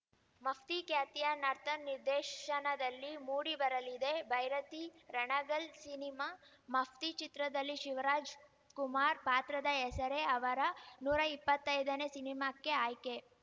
ಮಫ್ತಿ ಖ್ಯಾತಿಯ ನರ್ತನ್‌ ನಿರ್ದೇಶನದಲ್ಲಿ ಮೂಡಿ ಬರಲಿದೆ ಭೈರತಿ ರಣಗಲ್‌ ಸಿನಿಮಾ ಮಫ್ತಿ ಚಿತ್ರದಲ್ಲಿ ಶಿವರಾಜ್‌ ಕುಮಾರ್‌ ಪಾತ್ರದ ಹೆಸರೇ ಅವರ ನೂರಾ ಇಪ್ಪತ್ತೈದನೇ ಸಿನಿಮಾಕ್ಕೆ ಆಯ್ಕೆ